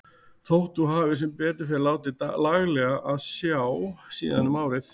Þótt þú hafir sem betur fer látið laglega á sjá síðan um árið.